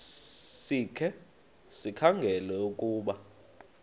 sikhe sikhangele ukuba